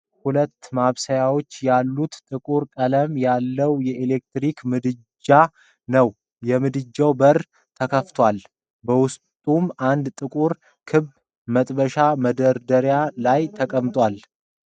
ሁለት ማብሰያዎች ያሉት ጥቁር ቀለም ያለው ኤሌክትሪክ ምድጃ ነው። የምድጃው በር ተከፍቷል፤ በውስጡም አንድ ጥቁር ክብ መጥበሻ መደርደሪያ ላይ ተቀምጧል።